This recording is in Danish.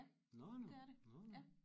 Ja det er det ja